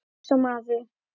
Mýs og maður.